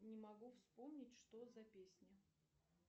не могу вспомнить что за песня